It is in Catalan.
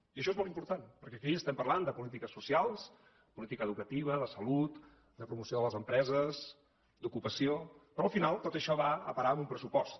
i això és molt important perquè aquí estem parlant de polítiques socials política educativa de salut de promoció de les empreses d’ocupació però al final tot això va a parar en un pressupost